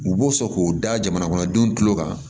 U b'o sɔn k'o da jamana kɔnɔdenw tulo kan